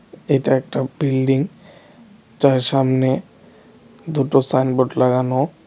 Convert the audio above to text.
এটা একটা বিল্ডিং যার সামনে দুটো সাইনবোর্ড লাগানো.